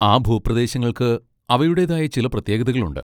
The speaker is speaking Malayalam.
ആ ഭൂപ്രദേശങ്ങൾക്ക് അവയുടേതായ ചില പ്രത്യേകതകളുണ്ട്.